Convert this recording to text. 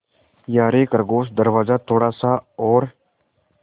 यारे खरगोश दरवाज़ा थोड़ा सा और